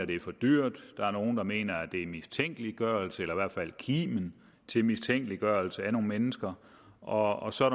det er for dyrt der er nogle der mener at det er mistænkeliggørelse eller i hvert fald rummer kimen til mistænkeliggørelse af nogle mennesker og så er